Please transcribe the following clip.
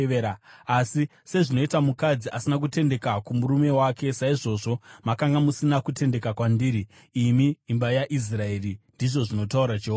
Asi sezvinoita mukadzi asina kutendeka kumurume wake, saizvozvo makanga musina kutendeka kwandiri, imi imba yaIsraeri,” ndizvo zvinotaura Jehovha.